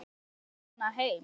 Fórstu með hana heim?